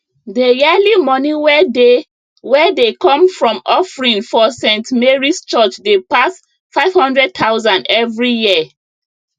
dey yearly money wey dey wey dey come from offering for st marys church dey pass 500000 every year